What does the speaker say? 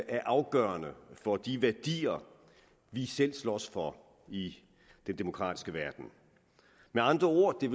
er afgørende for de værdier vi selv slås for i den demokratiske verden med andre ord vil